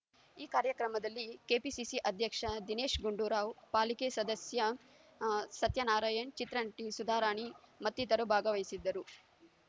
ಈ ಕಾರ್ಯಕ್ರಮದಲ್ಲಿ ಕೆಪಿಸಿಸಿ ಅಧ್ಯಕ್ಷ ದಿನೇಶ್ ಗುಂಡೂರಾವ್ ಪಾಲಿಕೆ ಸದಸ್ಯ ಸತ್ಯನಾರಾಯಣ ಚಿತ್ರನಟಿ ಸುಧಾರಾಣಿ ಮತ್ತಿತರರು ಭಾಗವಹಿಸಿದ್ದರು